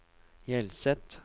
Hjelset